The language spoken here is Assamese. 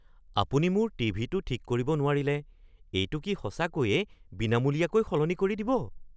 আপুনি মোৰ টিভিটো ঠিক কৰিব নোৱাৰিলে এইটো কি সঁচাকৈয়ে বিনামূলীয়াকৈ সলনি কৰি দিব?